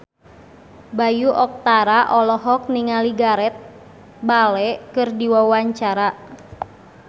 Bayu Octara olohok ningali Gareth Bale keur diwawancara